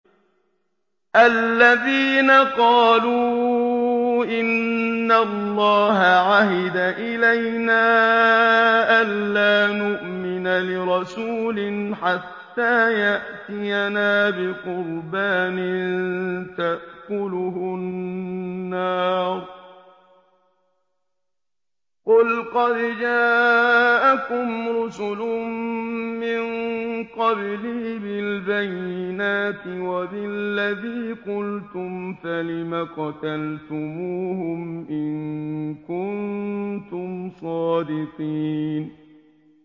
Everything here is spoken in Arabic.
الَّذِينَ قَالُوا إِنَّ اللَّهَ عَهِدَ إِلَيْنَا أَلَّا نُؤْمِنَ لِرَسُولٍ حَتَّىٰ يَأْتِيَنَا بِقُرْبَانٍ تَأْكُلُهُ النَّارُ ۗ قُلْ قَدْ جَاءَكُمْ رُسُلٌ مِّن قَبْلِي بِالْبَيِّنَاتِ وَبِالَّذِي قُلْتُمْ فَلِمَ قَتَلْتُمُوهُمْ إِن كُنتُمْ صَادِقِينَ